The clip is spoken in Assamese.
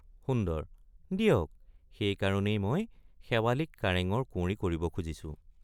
সুন্দৰ—দিয়ক সেই কাৰণেই মই শেৱালিক কাৰেঙৰ কুঁৱৰী কৰিব খুজিছো।